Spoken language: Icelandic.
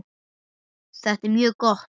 Þetta er mjög gott.